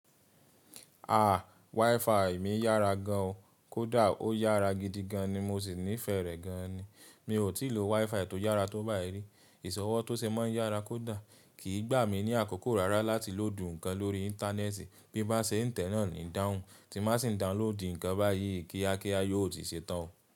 Àá, WiFi mi yára gan, kò dà ó yára gidi gan ni mo sì ní fẹ́ rẹ̀ gan ni. Mi ò tíì lo WiFi tó yára tó báyìí rí. Ìsọ̀wọ́ tó sé máa ń yára kò dà, kì í gbà mí ní àkókó rara láti lò dùn nǹkan lórí íńtánẹ́ẹ̀tì. Bí n bá se tẹ́ náà ní dáhùn, ti má sì ń download nǹkan báyìí kíákíà yóò tí ṣe tán.